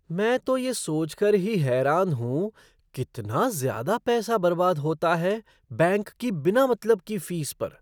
मैं तो ये सोच कर ही हैरान हूँ कितना ज़्यादा पैसा बर्बाद होता है बैंक की बिना मतलब की फ़ीस पर।